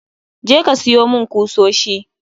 Je ka siyo mun kusoshi